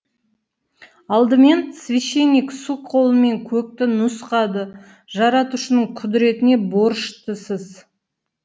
алдымен священник сұқ қолымен көкті нұсқады жаратушының құдіретіне борыштысыз